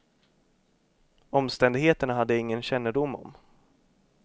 Omständigheterna hade jag ingen kännedom om.